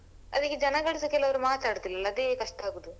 ಅದಿಕ್ಕೆ ಜನಗಳುಸ ಕೆಲವ್ರು ಮಾತಾಡುದಿಲ್ಲ ಅಲ್ಲ ಅದೇ ಕಷ್ಟ ಆಗುದು.